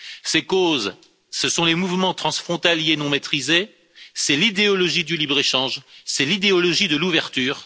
Ses causes, ce sont les mouvements transfrontaliers non maîtrisés, c'est l'idéologie du libre échange, c'est l'idéologie de l'ouverture.